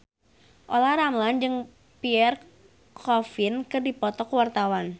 Olla Ramlan jeung Pierre Coffin keur dipoto ku wartawan